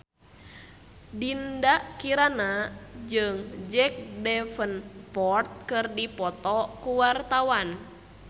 Dinda Kirana jeung Jack Davenport keur dipoto ku wartawan